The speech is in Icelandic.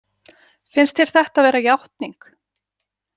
Finnst þér þetta vera játning?